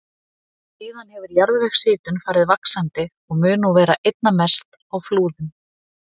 Síðan hefur jarðvegshitun farið vaxandi og mun nú vera einna mest á Flúðum.